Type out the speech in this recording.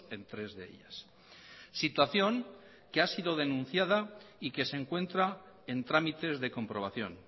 en tres de ellas situación que ha sido denunciada y que se encuentra en trámites de comprobación